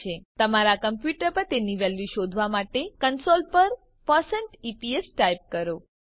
તમારા કમ્પ્યુટર પર તેની વેલ્યુ શોધવા માટે કંસોલ પર ઇપીએસ ટાઈપ કરો